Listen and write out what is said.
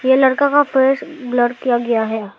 यह लड़का का फेस ब्लर किया गया है।